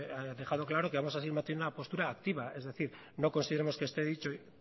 hemos dejado claro que vamos a seguir manteniendo una postura activa es decir no consideramos dicho